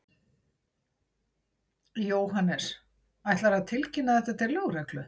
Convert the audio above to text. Jóhannes: Ætlarðu að tilkynna þetta til lögreglu?